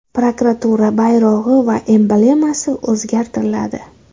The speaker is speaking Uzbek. Prokuratura bayrog‘i va emblemasi o‘zgartiriladi.